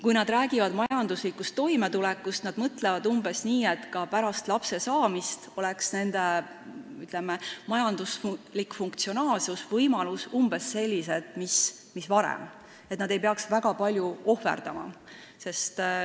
Kui nad räägivad majanduslikust toimetulekust, siis nad mõtlevad umbes nii, et ka pärast lapse saamist oleks nende, ütleme, majanduslik funktsionaalsus, majanduslikud võimalused umbes sellised mis varem, et nad ei peaks väga palju ohverdama.